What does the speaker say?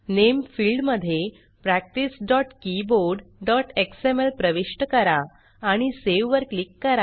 नामे field मध्ये practicekeyboardएक्सएमएल प्रविष्ट करा आणि सावे वर क्लिक करा